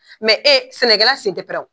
Mɛ e sɛnɛkɛla sen tɛ pɛrɛn wo !